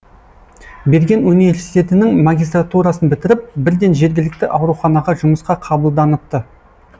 берген университетінің магистратурасын бітіріп бірден жергілікті ауруханаға жұмысқа қабылданыпты